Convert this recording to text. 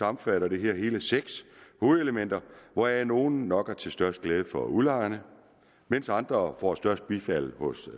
omfatter det her hele seks hovedelementer hvoraf nogle nok er til størst glæde for udlejerne mens andre får størst bifald på